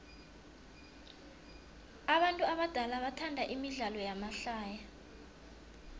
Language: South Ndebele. abantu abadala bathanda imidlalo yamahlaya